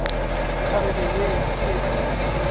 kgarebe ye e be e